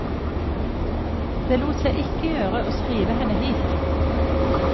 Det lot seg ikke gjøre å skrive henne hit.